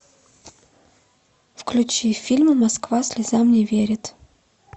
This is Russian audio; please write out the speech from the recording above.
включи фильм москва слезам не верит